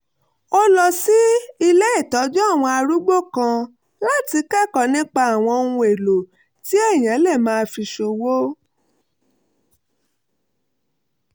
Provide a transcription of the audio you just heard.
ó lọ sí ilé ìtọ́jú àwọn arúgbó kan láti lọ kẹ́kọ̀ọ́ nípa àwọn ohun-èlò tí èèyàn lè máa fi ṣòwò